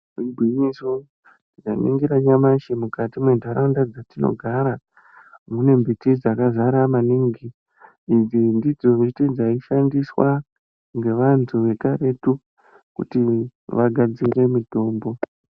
Igwinyiso ndaningira nyamashi mukati menharaunda dzatinogara mune mbiti dzakazara maningi idzi ndidzo miti dzaishandiswa ngevantu vekaretu kuti vagadzire mitombo.